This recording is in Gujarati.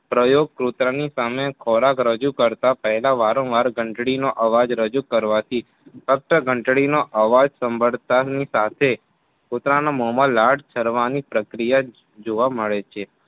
પ્રયોગ પોતાની સામે ખોરાક રજુ કરતા પેહલા વારંવાર ઘંટડીનો અવાજ રજુ કરવાથી અફસર ઘંટડીનો અવાજ સાંભળતાની સાથે કૂતરામાં મોમાં લાળ સરવાની પ્રક્રિયા જોવા મળે છે.